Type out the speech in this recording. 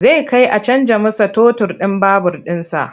Zai kai a canja masa totur ɗin babur ɗinsa.